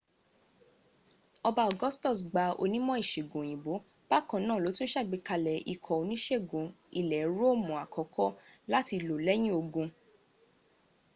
ọba augustus gbàwọn onímọ̀ ìsègùn òyìnbó bakanáà lótún sàgbékalẹ̀ ikọ̀ onísègùn ilẹ̀ róòmùn àkọ́kọ́ láti lò lẹ́yìn ogun